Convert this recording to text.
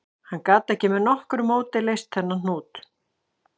Hann gat ekki með nokkru móti leyst þennan hnút